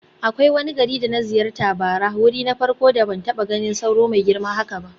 Akwai wani gari da na ziyarta bara, wuri na farko da ban taba ganin sauro mai girma haka ba.